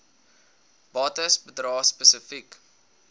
bates bedrae spesifiek